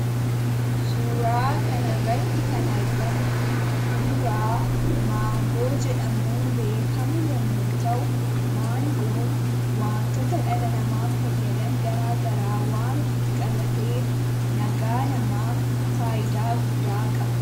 Suuraa kanarratti kan argamu kuduraa maangoo jedhamuun beekamu yommuu ta'u, maangoon waantota dhala namaaf fayyadan garaagaraa waan ofitti qabateef, nagaa namaaf faayidaa guddaa qaba.